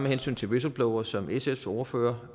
hensyn til whistleblowers som sfs ordfører